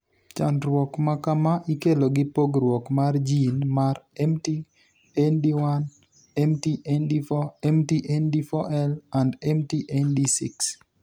Chandruok ma kama ikelo gi pogruok mar gin mar MT ND1, MT ND4, MT ND4L, and MT ND6